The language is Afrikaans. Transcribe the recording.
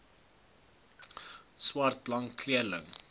swart blank kleurling